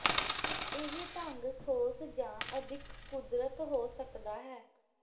ਇਹ ਢੰਗ ਠੋਸ ਜ ਅਿਦੱਖ ਕੁਦਰਤ ਹੋ ਸਕਦਾ ਹੈ